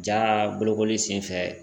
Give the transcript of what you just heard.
Jaa bolokoli senfɛ